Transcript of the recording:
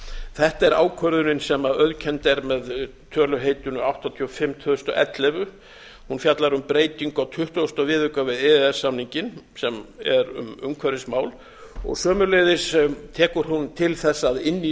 þetta er ákvörðunin sem auðkennd er með töluheitinu áttatíu og fimm tvö þúsund og ellefu hún fjallar um breytingu á tuttugasta viðauka við e e s samninginn sem er um umhverfismál sömuleiðis tekur hún til þess að inn í